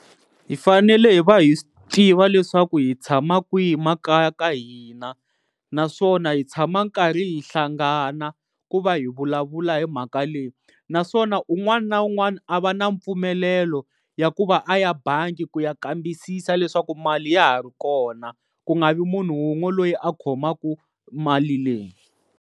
Hi fanele hi va hi swi tiva leswaku hi tshama kwihi makaya ka hina naswona hi tshama hi karhi hi hlangana ku va hi vulavula hi mhaka leyi naswona un'wana na un'wana a va na mpfumelelo ya ku va a ya bangi ku ya kambisisa leswaku mali ya ha ri kona ku nga vi munhu wun'we loyi a khomaka mali leyi.